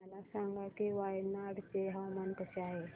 मला सांगा की वायनाड चे हवामान कसे आहे